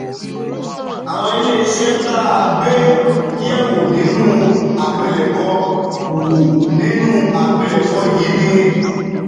Àwọn ilé iṣẹ́ tá a gbé yẹ̀ wò nínú àpilẹ̀kọ wò nínú àpilẹ̀kọ yìí ni